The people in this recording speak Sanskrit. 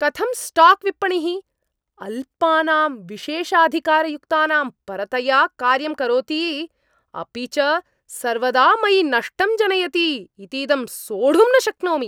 कथं स्टाक्विपणिः अल्पानां विशेषाधिकारयुक्तानां परतया कार्यं करोति, अपि च सर्वदा मयि नष्टं जनयति इतीदं सोढुं न शक्नोमि।